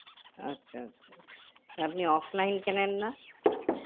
আচ্ছা আচ্ছা আপনি offline কেনেননা